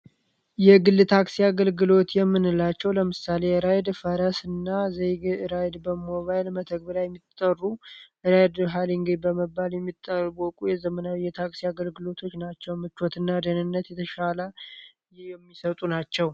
የግል ታክሲ አገልግሎት የምንላቸዉ ለምሳሌ እንደራይድ ፈረስ እና ዘይቤ ራይድ በሞባይል መተግበሪያ የሚታወቁ ዘመናዊ የታክሲ አገልግሎቶች ናቸዉ። ምቾት እና ደህንነት የተሻለ የሚሰጡ ናቸዉ።